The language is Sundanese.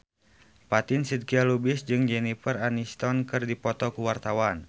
Fatin Shidqia Lubis jeung Jennifer Aniston keur dipoto ku wartawan